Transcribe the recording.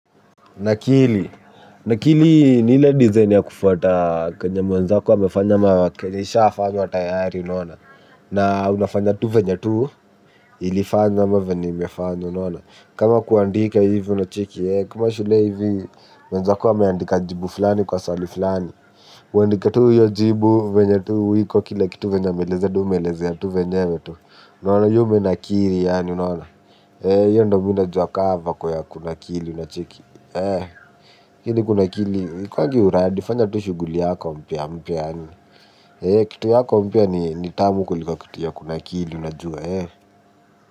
Nakili, nakili ni ile dizaini ya kufwata kenye mwenzako amefanya ama kenye ishafanywa tayari unaona. Na unafanya tu venye tu, ilifanywa ama imefanywa unaona. Kama kuandika hivi unacheki, kama shule hivi, wenzako wameandika jibu fulani kwa swali fulani. Uandike tu hiyo jibu venye tu, iko kila kitu venye ameelezea ndio wewe umeelezea tu venyewe tu. Na umenakili yaani unaona, hiyo ndio mimi najuwa kama vaku ya kunakili unacheki. Lakini kunakili haikuangi uradi fanya tu shughuli yako mpya mpya. Kitu yako mpya ni tamu kuliko kuti ya kunakili unajua.